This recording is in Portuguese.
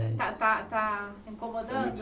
Eh Está está está incomodando?